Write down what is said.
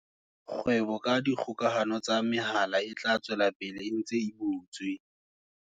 Kgwebo ka dikgokahano tsa mehala e tla tswela pele e ntse e butswe.